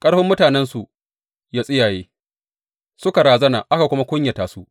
Ƙarfin mutanensu ya tsiyaye, suka razana aka kuma kunyata su.